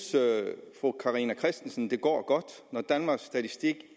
fru carina christensen det går godt når danmarks statistik